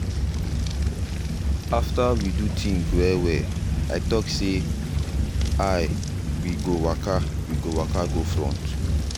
after we do think well well i talk say i we go waka we go waka go front.